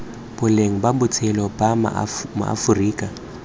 boleng ba botshelo ba maaforika